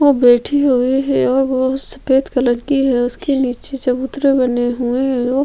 वो बैठी हुई है और वो सफ़ेद कलर की है उसके नीचे चबूत्तरा बना हुआ है वो--